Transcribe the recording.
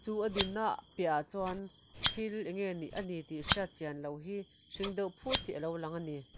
a dinna piahah chuan ti eng nge ni a nih a nih tih hriat chian loh hi hring deuh phut hi a lo lang ani.